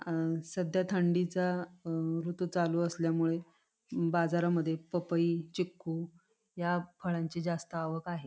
अ सध्या थंडीचा अ ऋतू चालू असल्यामुळे बाजारामधे पपई चिकु या फळांची जास्त आवक आहे.